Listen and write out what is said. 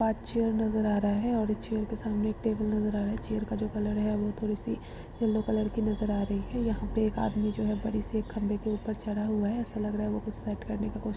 पाँच चेयर नजर आ रहा है और चेयर सामने एक टेबल नजर आ रहा है। चेयर का जो कलर वो थोड़ी सी येलो कलर की नजर आ रही है। यहाँ पे एक आदमी बड़ी सी खंभे ऊपर चढ़ा हुआ है। ऐसा लग रहा है वो कुछ साफ करने की को --